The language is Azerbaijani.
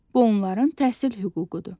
Bu onların təhsil hüququdur.